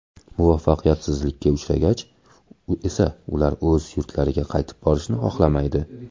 Muvaffaqiyatsizlikka uchragach esa ular o‘z yurtlariga qaytib borishni xohlamaydi.